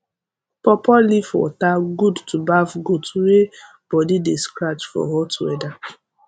pawpaw leaf water good to baf goat wey body de scratch for hot weather